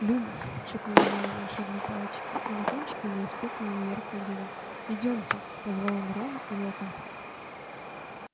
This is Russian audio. люмос шепнул гарри волшебной палочке и на кончике у неё вспыхнул неяркий огонёк идёмте позвал он рона и локонса